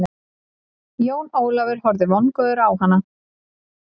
Jón Ólafur horfði vongóður á hana.